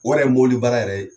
Wari ye mobili baara yɛrɛ